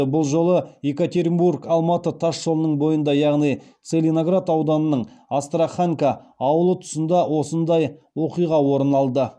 бұл жолы екатеринбор алматы тас жолының бойында яғни целиноград ауданының астраханка ауылы тұсында осындай оқиға орын алды